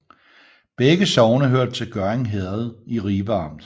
Begge sogne hørte til Gørding Herred i Ribe Amt